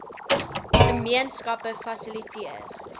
gemeen skappe fasiliteer